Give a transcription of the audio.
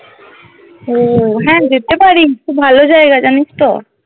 ও হ্যাঁ যেতে পারিস খুব ভালো জায়গা জানিস তো